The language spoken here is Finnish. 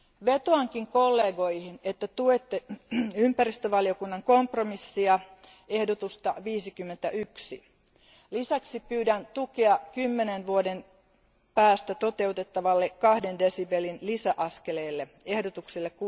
Vetoankin kollegoihin, että tuette ympäristövaliokunnan kompromissia, ehdotusta 51. Lisäksi pyydän tukea 10 vuoden kuluttua toteutettavalle 2 desibelin lisäaskeleelle, ehdotukselle